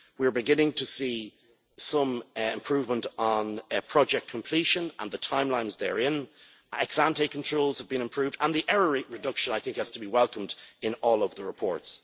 We are beginning to see some improvement on project completion and the timelines therein, ex ante controls have been improved and the error rate reduction, I think, has to be welcomed in all of the reports.